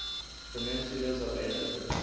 peninsulas of asia